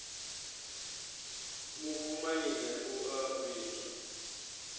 mufu maine u a vhidzwa